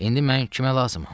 İndi mən kimə lazımam?